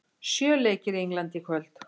Sjö leikir í Englandi í kvöld